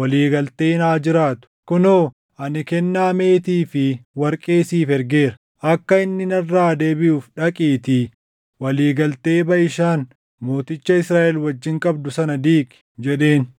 walii galteen haa jiraatu. Kunoo ani kennaa meetii fi warqee siif ergeera. Akka inni narraa deebiʼuuf dhaqiitii walii galtee Baʼishaan mooticha Israaʼel wajjin qabdu sana diigi” jedheen.